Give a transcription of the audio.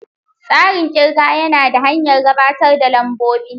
Tsarin ƙirga yana da hanyar gabatar da lambobi.